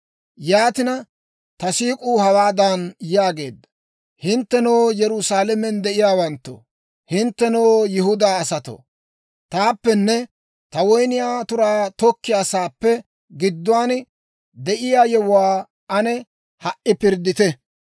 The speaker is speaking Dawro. Yaatina, ta siik'uu hawaadan yaageedda; «Hinttenoo, Yerusaalamen de'iyaawanttoo, Hinttenoo, Yihudaa asatoo, taappenne ta woyniyaa turaa tokkiyaa sa'aappe gidduwaan, de'iyaa yewuwaa ane ha"i pirddite.